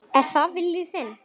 Er það vilji þinn?